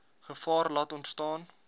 gevaar laat ontstaan